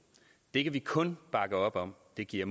det kan vi kun bakke op om det giver